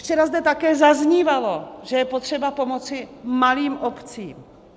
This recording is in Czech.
Včera zde také zaznívalo, že je potřeba pomoci malým obcím.